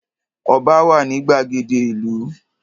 Ọba wà ní gbàgede ìlú.